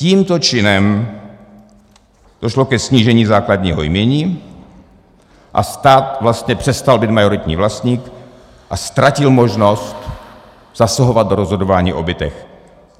Tímto činem došlo ke snížení základního jmění a stát vlastně přestal být majoritním vlastníkem a ztratil možnost zasahovat do rozhodování o bytech.